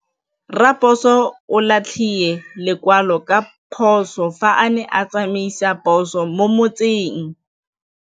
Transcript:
Raposo o latlhie lekwalô ka phosô fa a ne a tsamaisa poso mo motseng.